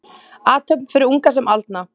Athöfn fyrir unga sem aldna.